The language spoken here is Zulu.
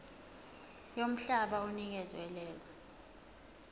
yomhlaba onikezwe lelo